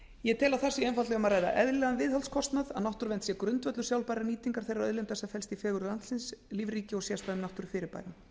ég tel að þar sé einfaldlega um eðlilegan viðhaldskostnað að ræða að náttúruvernd sé grundvöllur sjálfbærrar nýtingar þeirrar auðlindar sem felst í fegurð landsins lífríki og sérstæðum náttúrufyrirbærum